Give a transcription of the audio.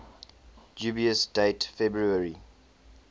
dubious date february